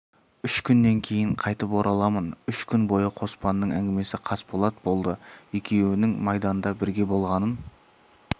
үш күннен кейін қайтып ораламын үш күн бойы қоспанның әңгімесі қасболат болды екеуінің майданда бірге болғанын